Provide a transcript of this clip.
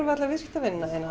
við alla viðskiptavinina